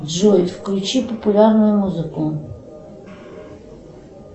джой включи популярную музыку